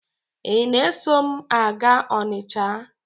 Ị na-eso m a gaa Ọnịcha?